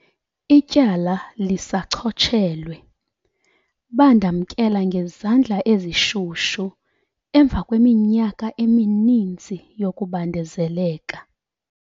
Ityala lisachotshelwe."Bandamkela ngezandla ezishushu emva kweminyaka emininzi yokubandezeleka."